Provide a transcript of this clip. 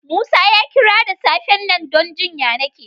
Musa ya kira da safen nan don jin ƴanake.